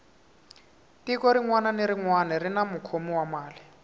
tiko rinwani na rinwani rini mukhomi wa mali